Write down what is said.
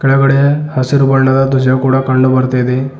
ಕೆಳಗಡೆ ಹಸಿರು ಬಣ್ಣದ ಧ್ವಜ ಕೂಡ ಕಂಡು ಬರ್ತಾಯಿದೆ.